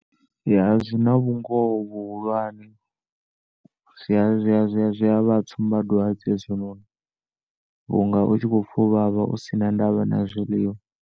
Ya zwina vhungoho vhuhulwane, zwia zwia zwiavha tsumba dwadze hezwi noni vhunga utshi khopfa u vhavha u si na ndavha na zwiḽiwa.